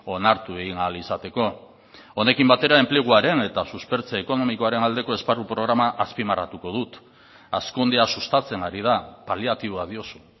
onartu egin ahal izateko honekin batera enpleguaren eta suspertze ekonomikoaren aldeko esparru programa azpimarratuko dut hazkundea sustatzen ari da paliatiboa diozu